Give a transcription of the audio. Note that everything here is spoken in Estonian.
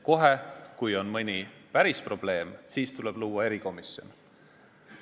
Kohe, kui on mõni päris probleem, siis tuleb luua erikomisjon.